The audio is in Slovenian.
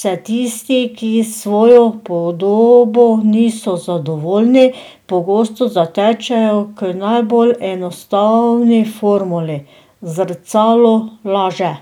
se tisti, ki s svojo podobo niso zadovoljni, pogosto zatečejo k najbolj enostavni formuli: 'Zrcalo laže!